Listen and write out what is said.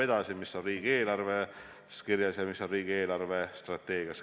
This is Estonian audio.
See on kirjas nii riigieelarves kui ka riigi eelarvestrateegias.